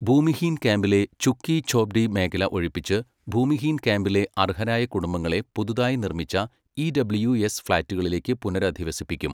ഭൂമിഹീൻ ക്യാമ്പിലെ ഝുഗ്ഗി ഝോപ്ഡി മേഖല ഒഴിപ്പിച്ച്, ഭൂമിഹീൻ ക്യാമ്പിലെ അർഹരായ കുടുംബങ്ങളെ പുതുതായി നിർമിച്ച ഇഡബ്ല്യുഎസ് ഫ്ലാറ്റുകളിലേക്കു പുനരധിവസിപ്പിക്കും.